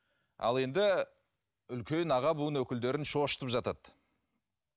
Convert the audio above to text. ал енді үлкен аға буын өкілдерін шошытып жатады